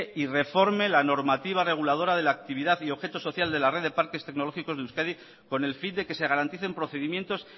y reforme la normativa reguladora de la actividad y objeto social de la red de parques tecnológicos de euskadi con el fin de que se garanticen procedimientos